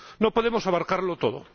No podemos abarcarlo todo.